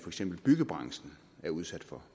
eksempel byggebranchen er udsat for